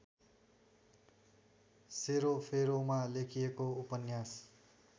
सेरोफेरोमा लेखिएको उपन्यास